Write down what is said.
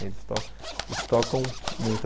Eles tocam eles tocam muito.